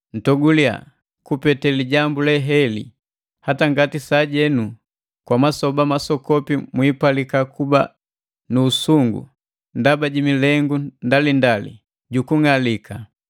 Ntoguliya kupete lijambu le heli, hata ngati sajenu, kwa masoba masokopi mwipalika kuba nu usungu ndaba ji milengu ndalindali jukunng'alika,